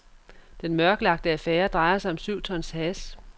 Den mørklagte affære drejer sig om syv tons hash.